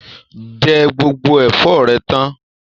Jẹ gbogbo ẹfọ rẹ tàn.